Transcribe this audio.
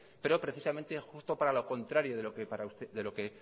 pero precisamente justo para lo contrario de lo que